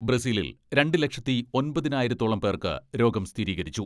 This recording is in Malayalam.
ബ്രസീലിൽ രണ്ട് ലക്ഷത്തി ഒമ്പതിനായിരത്തോളം പേർക്ക് രോഗം സ്ഥിരീകരിച്ചു.